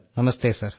നമസ്തേ sir